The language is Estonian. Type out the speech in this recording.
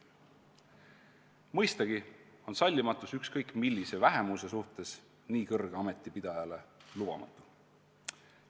Mõistagi on sallimatus ükskõik millise vähemuse suhtes nii kõrge ameti pidajale lubamatu.